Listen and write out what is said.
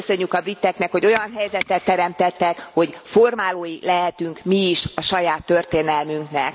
Köszönjük a briteknek, hogy olyan helyzetet teremtettek, hogy formálói lehetünk mi is a saját történelmünknek.